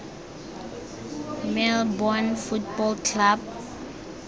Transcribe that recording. melbourne football club